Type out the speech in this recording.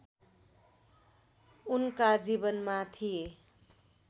उनका जीवनमा थिए